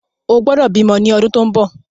O gbọ́dọ̀ bímọ ni ọdún tó ń bọ̀!